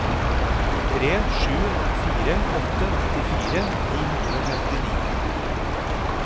tre sju fire åtte nittifire ni hundre og femtini